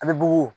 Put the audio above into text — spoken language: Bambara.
An bɛ bugu